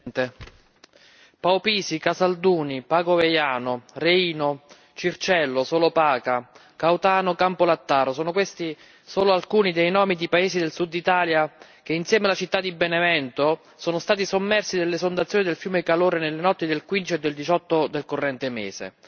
Signor Presidente, onorevoli colleghi, Paupisi, Casalduni, Pago Veiano, Reino, Circello, Solopaca, Cautano, Campolattaro sono questi solo alcuni dei nomi di paesi del Sud Italia che insieme alla città di Benevento sono stati sommersi dall'esondazione del fiume Calore nelle notti del 15 e del 18 del corrente mese.